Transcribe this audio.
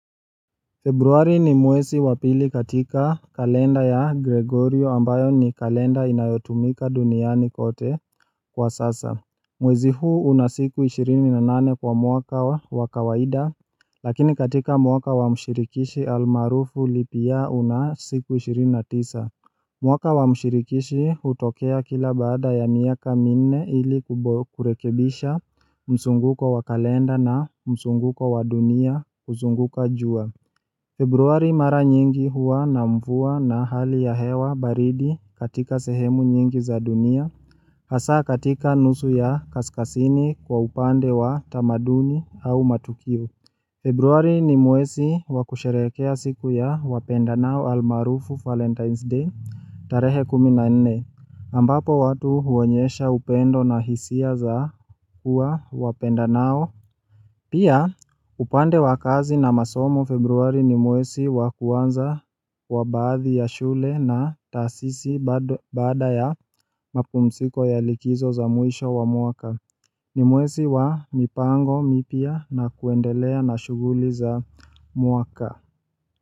Februari ni mwesi wa pili katika kalenda ya Gregorio ambayo ni kalenda inayotumika duniani kote kwa sasa Mwezi huu una siku ishirini na nane kwa mwaka wa kawaida Lakini katika mwaka wa mshirikishi almarufu leap year una siku ishirini na tisa mwaka wa mshirikishi hutokea kila baada ya miaka minne ili kurekebisha msunguko wa kalenda na msunguko wa dunia kuzunguka jua Februari mara nyingi huwa na mvua na hali ya hewa baridi katika sehemu nyingi za dunia, hasa katika nusu ya kaskasini kwa upande wa tamaduni au matukio. Februari ni mwesi wakusherekea siku ya wapenda nao almarufu valentines day tarehe kumi na ene, ambapo watu huonyesha upendo na hisia za huwa wapenda nao. Pia upande wakazi na masomo februari ni mwesi wakuanza kwa baadhi ya shule na taasisi baada ya mapumsiko ya likizo za mwisho wa mwaka ni mwesi wa mipango mipya na kuendelea na shuguli za mwaka.